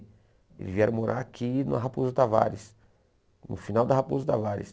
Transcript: Eles vieram morar aqui na Raposo Tavares, no final da Raposo Tavares.